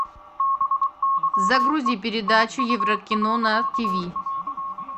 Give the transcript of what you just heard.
загрузи передачу еврокино на тиви